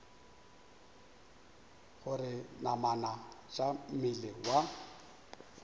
gore namana tša mmele wa